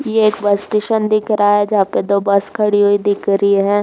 ये एक bus station दिख रहा है। जहाँ पर दो बस खड़ी हुई दिख रही है।